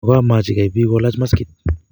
mgomwachi gai bik kolach maskit